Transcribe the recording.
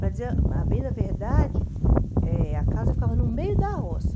Para dizer a bem da verdade, eh a casa ficava no meio da roça.